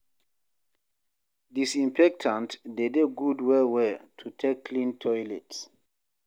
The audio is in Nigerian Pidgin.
Disinfectant de dey good well well to take clean toilet